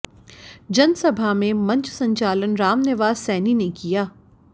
जनसभा में मंच संचालन रामनिवास सैनी ने किया